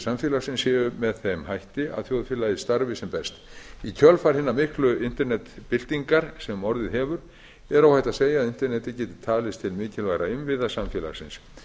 samfélagsins séu með þeim hætti að þjóðfélagið starfi sem best í kjölfar hinnar miklu internetbyltingar sem orðið hefur er óhætt að segja að netið geti talist til mikilvægra innviða samfélagsins